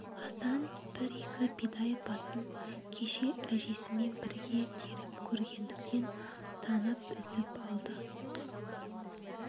асан бір-екі бидай басын кеше әжесімен бірге теріп көргендіктен танып үзіп алды